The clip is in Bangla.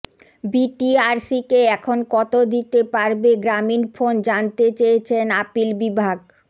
বিটিআরসিকে এখন কত দিতে পারবে গ্রামীণফোন জানতে চেয়েছেন আপিল বিভাগ